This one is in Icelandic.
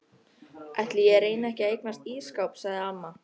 Ætli ég reyni ekki að eignast ísskáp sagði amma.